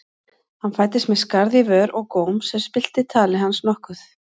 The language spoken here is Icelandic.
Hann fæddist með skarð í vör og góm sem spillti tali hans nokkuð.